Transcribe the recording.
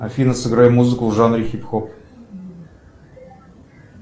афина сыграй музыку в жанре хип хоп